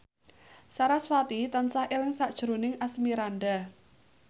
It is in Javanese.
sarasvati tansah eling sakjroning Asmirandah